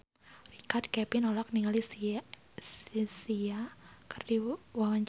Richard Kevin olohok ningali Sia keur diwawancara